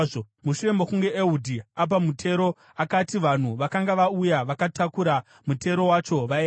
Mushure mokunge Ehudhi apa mutero, akati vanhu vakanga vauya vakatakura mutero wacho vaende.